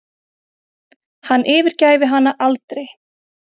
Hann yfirgæfi hana aldrei.